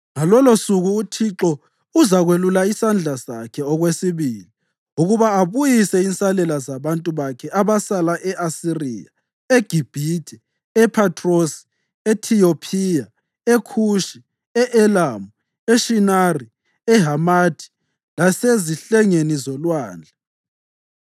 Ngalolosuku uThixo uzakwelula isandla sakhe okwesibili ukuba abuyise insalela zabantu bakhe abasala e-Asiriya, eGibhithe, ePhathrosi, eTiyopiya, eKhushi, e-Elamu, eShinari, eHamathi lasezihlengeni zolwandle.